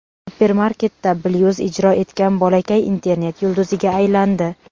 Supermarketda blyuz ijro etgan bolakay internet yulduziga aylandi.